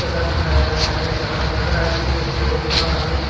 जगह दिखाया गया है जहां लग रहा है कि ये गौशाला है।